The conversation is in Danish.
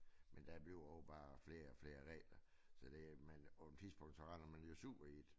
Men der bliver også bare flere og flere regler så det men på et tidspunkt så render man jo sur i det